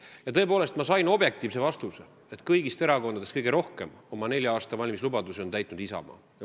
Ja tõepoolest ma jõudsin objektiivse järelduseni, et kõigist erakondadest on kõige rohkem oma nelja aasta valimislubadusi täitnud Isamaa.